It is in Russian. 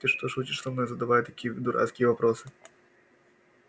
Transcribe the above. ты что шутишь со мной задавая такие дурацкие вопросы